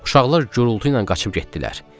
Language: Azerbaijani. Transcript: Uşaqlar gurultu ilə qaçıb getdilər.